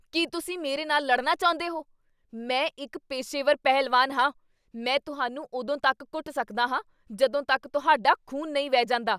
ਕੀ ਤੁਸੀਂ ਮੇਰੇ ਨਾਲ ਲੜਨਾ ਚਾਹੁੰਦੇ ਹੋ? ਮੈਂ ਇੱਕ ਪੇਸ਼ੇਵਰ ਪਹਿਲਵਾਨ ਹਾਂ! ਮੈਂ ਤੁਹਾਨੂੰ ਉਦੋਂ ਤੱਕ ਕੁੱਟ ਸਕਦਾ ਹਾਂ ਜਦੋਂ ਤੱਕ ਤੁਹਾਡਾ ਖ਼ੂਨ ਨਹੀਂ ਵਹਿ ਜਾਂਦਾ।